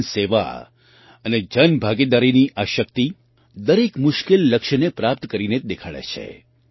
જન સેવા અને જન ભાગીદારીની આ શક્તિ દરેક મુશ્કેલ લક્ષ્યને પ્રાપ્ત કરીને જ દેખાડે છે